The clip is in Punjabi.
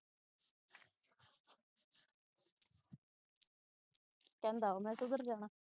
ਕਹਿੰਦਾ ਉਹ ਮੈਂ ਕਿਧਰ ਜਾਣਾ